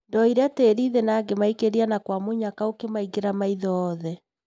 Ndoire tĩri thĩ na ngĩmaikĩria na kwa mũnyaka ũkĩmaingĩra maitho othe.